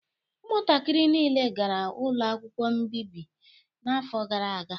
Ụmụntakịrị niile gara ụlọ akwụkwọ mbibi n'afọ gara aga